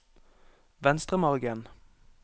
Venstremargen